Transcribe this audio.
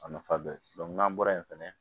A nafa bɛ n'an bɔra yen fɛnɛ